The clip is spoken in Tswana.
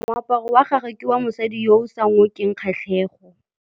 Moaparô wa gagwe ke wa mosadi yo o sa ngôkeng kgatlhegô.